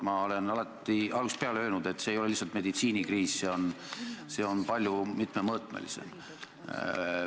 Ma olen algusest peale öelnud, et see ei ole lihtsalt meditsiinikriis, vaid see on palju mitmemõõtmelisem.